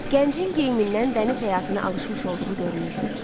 Gəncin geyimindən dəniz həyatını alışmış olduğu görünürdü.